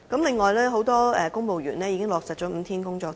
此外，很多公務員已經落實5天工作周。